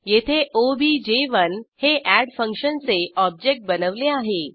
येथे ओबीजे1 हे एड फंक्शनचे ऑब्जेक्ट बनवले आहे